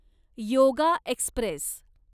yoga Express